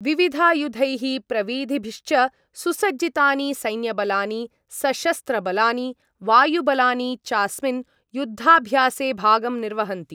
विविधायुधैः प्रविधिभिश्च सुसज्जितानि सैन्यबलानि, सशस्त्रबलानि, वायुबलानि चास्मिन् युद्धाभ्यासे भागं निर्वहन्ति।